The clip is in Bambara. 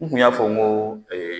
N kun y'a fɔ n ko